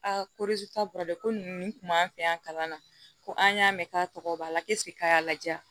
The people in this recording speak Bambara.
ko t'a la ko nunnu kun b'an fɛ yan kalan na ko an y'a mɛn k'a tɔgɔ b'a la k'a y'a lajɛ